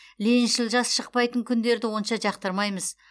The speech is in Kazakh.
лениншіл жас шықпайтын күндерді онша жақтырмаймыз